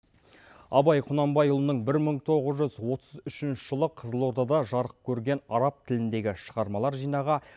абай құнанбайұлының бір мың тоғыз жүз отыз үшінші жылы қызылордада жарық көрген араб тіліндегі шығармалар жинағы